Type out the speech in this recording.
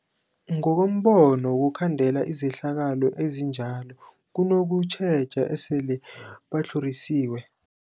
Ngokombono wokhandela izehlakalo ezinjalo kunokutjheja esele batlhorisiwe.